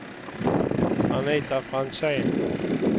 Anita Franzén